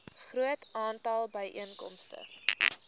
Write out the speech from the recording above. groot aantal byeenkomste